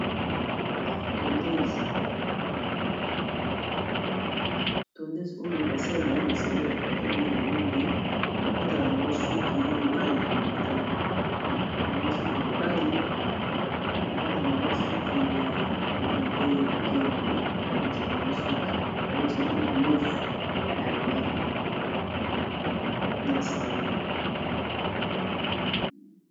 tondese oyo basalelaka yango na salon de coiffure mingimingi kolata suki ya mibali bakatakango suki ya bana pe ya mike ya mibali abongisakango suki babongisaango pe mandefu ya mibali na salon.